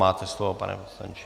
Máte slovo, pane poslanče.